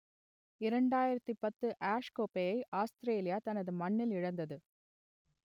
இரண்டாயிரத்து பத்து ஆஷ் கோப்பையை ஆஸ்த்திரேலியா தனது மண்ணில் இழந்தது